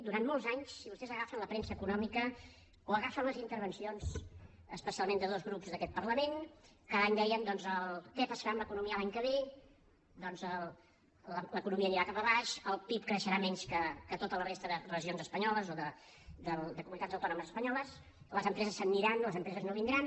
durant molts anys si vostès agafen la premsa econòmica o agafen les intervencions especialment de dos grups d’aquest parlament cada any deien doncs què passarà amb l’economia l’any que ve doncs l’economia anirà cap avall el pib creixerà menys que a tota la resta de regions espanyoles o de comunitats autònomes espanyoles les empreses se n’aniran les empreses no vindran